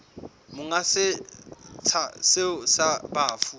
monga setsha seo sa bafu